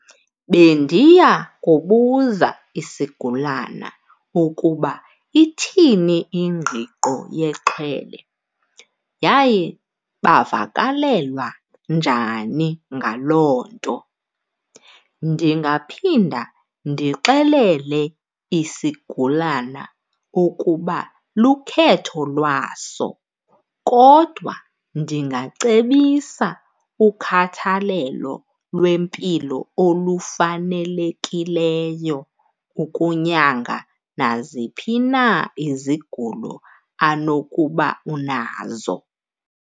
Bendiya kubuza isigulana ukuba ithini ingqiqo yexhwele yaye bavakalelwa njani ngaloo nto. Ndingaphinda ndixelele isigulana ukuba lukhetho lwaso kodwa ndingacebisa ukhathalelo lwempilo olufanelekileyo ukunyanga naziphi na izigulo anokuba unazo.